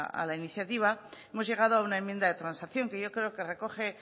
a la iniciativa hemos llegado a una enmienda de transacción que yo creo que recoge